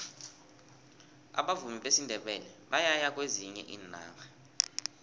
abavumi besindebele bayaya kwezinye iinarha